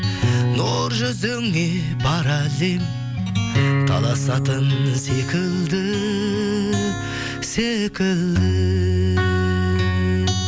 нұр жүзіңе бар әлем таласатын секілді секілді